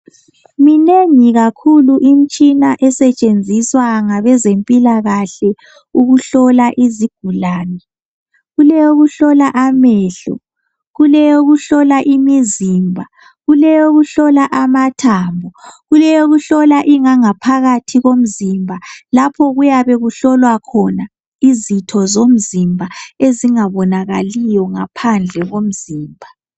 Minengi kakhulu imitshina esetshenziswa ngabezempilakahle ukuhlola izigulane. Kulowokuhlola amehlo, kuleyokuhlola imizimba, kuleyokuhlola amathambo, kuleyokuhlola ingangaphakathi yomzimba lapha kuyabe kuhlolwa khona izitho zomzimba ezingabonakaliyo ngaphandle komzimba.